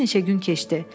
Bir neçə gün keçdi.